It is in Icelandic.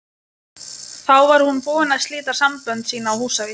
Þá var hún búin að slíta sambönd sín á Húsavík.